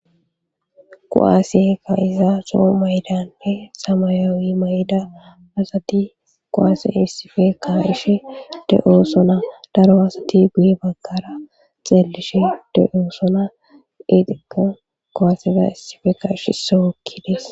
kuwaase kaa7iza zo7o mayidanne samayawi mayida asati kuwaase issife ka7ishe de7oosona daro asati guye baggara xeelishe de7oosona eetikka kuwaseda issife ka7ishe issoy hokkides.